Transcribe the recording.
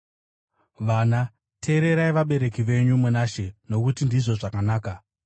Vana, teererai vabereki venyu muna She, nokuti ndizvo zvakanaka.